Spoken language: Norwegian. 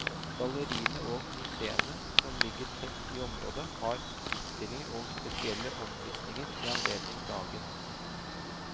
Galleriene og museene som ligger tett i området, har utstillinger og spesielle omvisninger i anledning dagen.